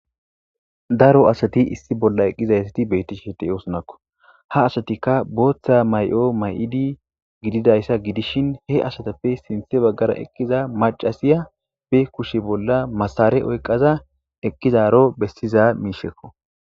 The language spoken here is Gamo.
Daro asati issi bolla eqqizaysati betti sheti oosunakko ha asatikka booththa may'o may'idi gididayssa gidishin he asatappe sinthe baggara eqqiza macasiya be kushe bolla masare oyqaza eqqizaro bessiza miishekko